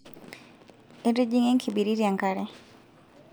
etijinyang enkibiriti enkare